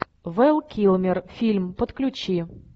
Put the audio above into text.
вэл килмер фильм подключи